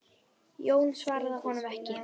Jón svaraði honum ekki.